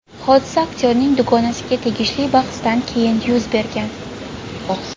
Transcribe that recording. Hodisa aktyorning dugonasiga tegishli bahsdan keyin yuz bergan.